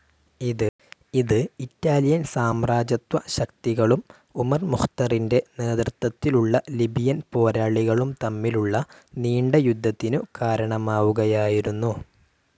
ഇത് ഇറ്റാലിയൻ സാമ്രാജ്യത്വശക്തികളും ഉമർ മുഖ്തറിൻ്റെ നേതൃത്വത്തിലുള്ള ലിബിയൻ പോരാളികളും തമ്മിലുള്ള നീണ്ട യുദ്ധത്തിനു കാരണമാവുകയായിരുന്നു.